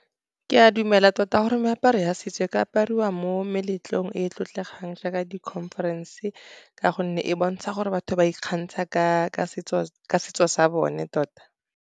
Ke a dumela tota gore meaparo ya setso e ka apariwa mo meletlong e e tlotlegang jaaka di-conference, ka gonne e bontsha gore batho ba ikgantsha ka setso sa bone tota.